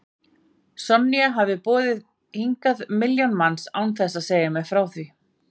Sonja hafði boðið hingað milljón manns án þess að segja mér frá því.